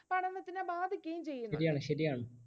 ശരിയാണ് ശരിയാണ്